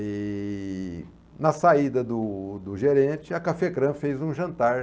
E na saída do do gerente, a Cafecrã fez um jantar.